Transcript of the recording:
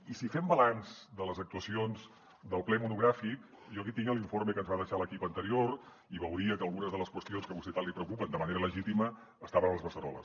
i si fem balanç de les actuacions del ple monogràfic jo aquí tinc l’informe que ens va deixar l’equip anterior i veuria que algunes de les qüestions que a vostè tant li preocupen de manera legítima estaven a les beceroles